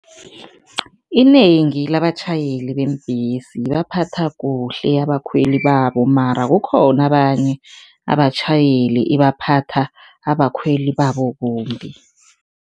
Inengi labatjhayeli beembesi baphatha kuhle abakhweli babo mara kukhona abanye abatjhayeli ebaphatha abakhweli babo kumbi.